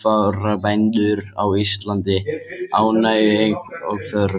sauðfjárbændum á Íslandi ánægjuleg eign og þörf.